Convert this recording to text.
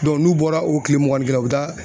n'u bɔra o tile mugan ni kelen u be taa